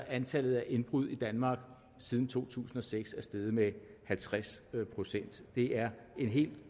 antallet af indbrud i danmark siden to tusind og seks altså er steget med halvtreds procent det er en helt